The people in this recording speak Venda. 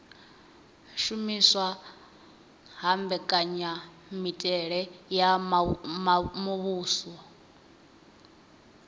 shumiswa ha mbekanyamitele ya muvhuso